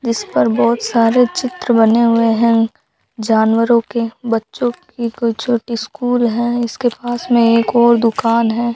जिस पर बहुत सारे चित्र बने हुए हैं जानवरों के बच्चों की कोई छोटी स्कूल है इसके पास में एक और दुकान है।